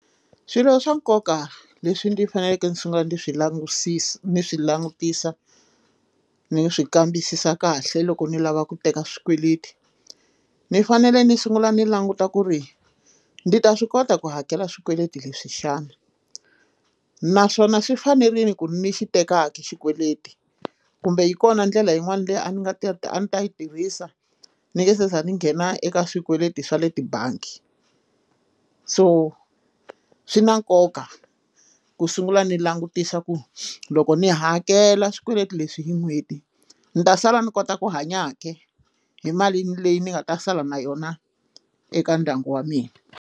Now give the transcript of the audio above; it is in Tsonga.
Swilo swa nkoka leswi ndzi faneleke ndzi sungula ndzi swi langusisa ni swi langutisa ndzi swi kambisisa kahle loko ndzi lava ku teka swikweleti ni fanele ni sungula ni languta ku ri ndzi ta swi kota ku hakela swikweleti leswi xana naswona swi fanerile ku ni xi tekaka xikweleti kumbe hi kona ndlela yin'wana leyi a ni nga ti a ni ta yi tirhisa ni nge se za a ndzi nghena eka swikweleti swa le tibangi so swi na nkoka ku sungula ndzi langutisa ku loko ni hakela swikweleti leswi hi n'hweti ni ta sala ni kota ku hanya hi mali leyi ni nga ta sala na yona eka ndyangu wa mina.